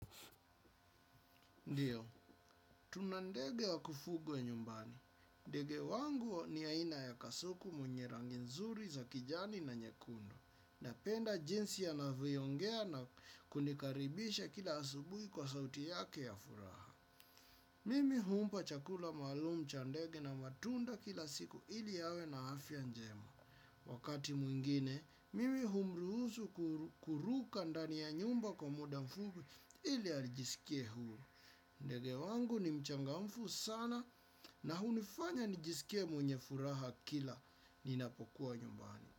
Ndiyo, tuna ndege wa kufugwa nyumbani. Ndege wangu ni aina ya kasuku mwenye rangi nzuri za kijani na nyekundu. Napenda jinsi yanavyoongea na kunikaribisha kila asubuhi kwa sauti yake ya furaha. Mimi humpa chakula maalum cha ndege na matunda kila siku ili yawe na afya njema. Wakati mwingine, mimi humruhusu kuruka ndani ya nyumba kwa muda mfupi ili ajisikie huru. Ndege wangu ni mchangamfu sana na hunifanya nijisikie mwenye furaha kila ninapokuwa nyumbani.